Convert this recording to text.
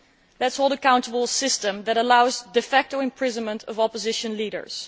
Let us hold accountable a system that allows de facto imprisonment of opposition leaders.